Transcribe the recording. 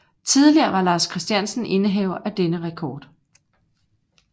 Tidligere var Lars Christiansen indehaver af denne rekord